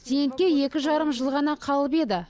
зейнетке екі жарым жыл ғана қалып еді